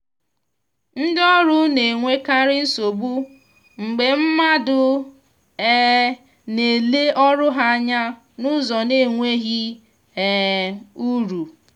ndi ọrụ na-enwekarị nsogbu mgbe mmadụ um na-ele ọrụ ha anya n’ụzọ na-enweghị um uru